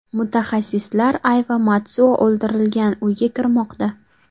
Mutaxassislar Ayva Matsuo o‘ldirilgan uyga kirmoqda.